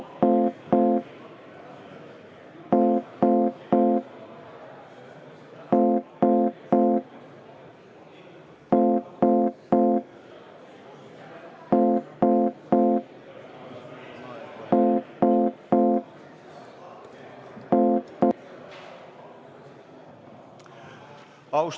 Istungi lõpp kell 18.02.